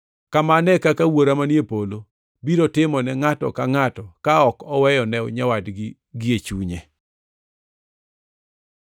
“Kamano e kaka Wuora manie polo biro timo ne ngʼato ka ngʼato ka ok oweyo ne nyawadgi gie chunye.”